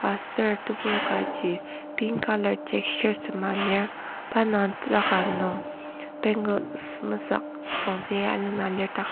ser tebur kaji pink colour t shirt sema pa indang taka nung bangles mesük süngzü agi alena lir ta.